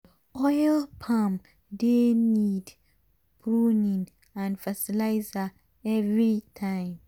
oil palm dey need pruning and fertilizer everytime.